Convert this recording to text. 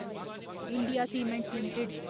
India cements limited